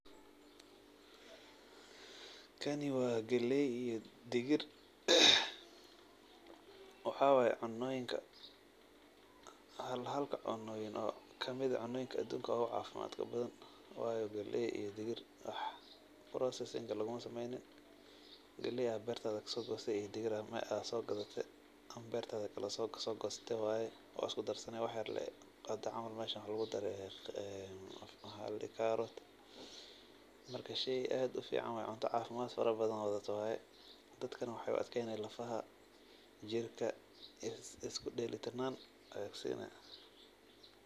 Kani waa gelay iyo digir. Waxaa waay cunooyinka halhalka cunooyin oo kamid ah cunooyinka aduunka ugu caafimaadka badan. Waayo gelay iyo digir wax processing ah lugumasameeynin. Gelay aad beertaada ka soo goosatay iyo digir aad soo gadatay ama beertaada kala soo goosatay waay oo aad usku darsani waxyerlay qadac camal meesha waxaa lugudaray carrot. Marka shay aad u ficaan waay cunto caafimad farabadan wadato waay. Dadkana waxaay u adkeyni lafaha, jirka, isku dhaylatirnaan ay kusiini.